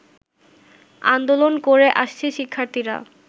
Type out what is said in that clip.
আন্দোলন করে আসছে শিক্ষার্থীরা